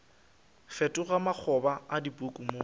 fetoga makgoba a dipuku mo